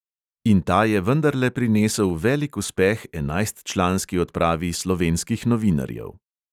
In ta je vendarle prinesel velik uspeh enajstčlanski odpravi slovenskih novinarjev.